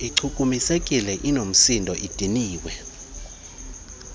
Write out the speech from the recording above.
ichukumisekile inoomsindo idiniwe